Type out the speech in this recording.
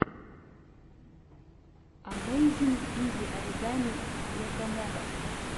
амэйзин изи оригами якомога